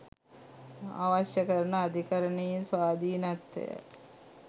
අවශ්‍ය කරන අධිකරණයේ ස්වාධීනත්වය